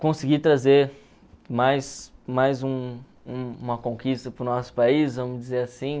Consegui trazer mais mais um um uma conquista para o nosso país, vamos dizer assim.